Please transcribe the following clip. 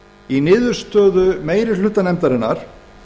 í niðurstöðu meiri hluta nefndarinnar